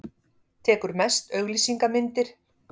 Tekur mest auglýsingamyndir.